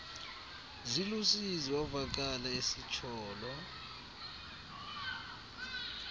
zilusizi wavakala esitsholo